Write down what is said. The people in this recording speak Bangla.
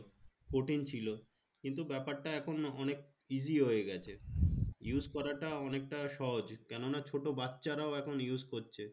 কঠিন ছিল কিন্তু ব্যপারটা এখন অনেক easy হয়ে গেছে use করাটা অনেকটা সহজ কেনোনা ছোট বাচ্চারাও এখন use করছে